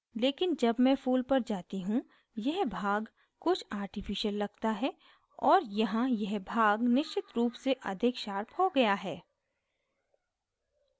लेकिन जब मैं फूल पर जाती हूँ यह भाग कुछ artificial लगता है और यहाँ यह भाग निश्चित रूप से अधिक शार्प हो गया है